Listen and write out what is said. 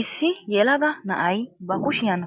issi yelaga na'ay ba kushshiyan